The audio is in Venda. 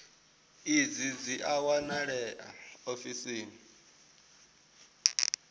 idzi dzi a wanalea ofisini